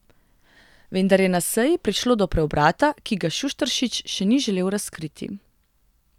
Vendar je na seji prišlo do preobrata, ki ga Šušteršič še ni želel razkriti.